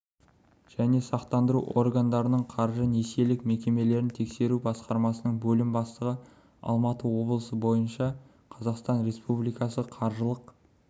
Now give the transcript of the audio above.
және сақтандыру органдарының қаржы-несиелік мекемелерін тексеру басқармасының бөлім бастығы алматы облысы бойынша қазақстан республикасы қаржылық